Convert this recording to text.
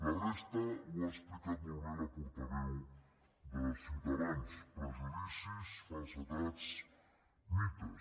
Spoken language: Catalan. la resta ho ha explicat molt bé la portaveu de ciutadans prejudicis falsedats mites